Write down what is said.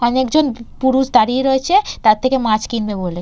অনেকজন পুরুষ দাঁড়িয়ে রয়েছে তার থেকে মাছ কিনবে বলে।